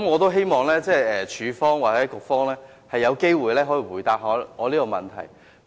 我希望署方或局方有機會回答我這個問題。